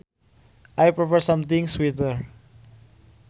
I prefer something sweeter